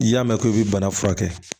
I y'a mɛn k'i bɛ bana furakɛ